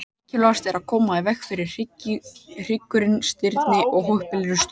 Mikilvægast er að koma í veg fyrir að hryggurinn stirðni í óheppilegri stöðu.